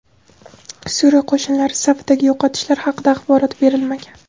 Suriya qo‘shinlari safidagi yo‘qotishlar haqida axborot berilmagan.